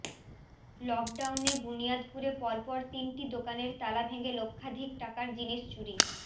লকডাউনে বুনিয়াদপুরে পরপর তিনটি দোকানের তালা ভেঙে লক্ষাধিক টাকার জিনিস চুরি